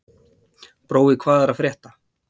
Brói, hvað er að frétta?